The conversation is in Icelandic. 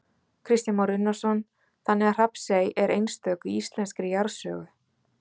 Kristján Már Unnarsson: Þannig að Hrafnsey er einstök í íslenskri jarðsögu?